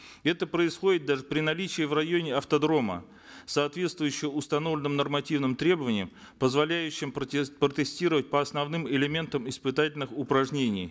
это происходит даже при наличии в районе автодрома соответствующего установленным нормативным требованиям позволяющим протестировать по основным элементам испытательных упражнений